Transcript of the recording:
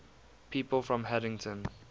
people from haddington